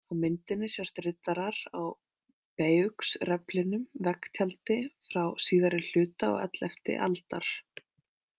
Á myndinni sjást riddarar á Bayeuxreflinum, veggtjaldi frá síðari hluta og ellefti aldar.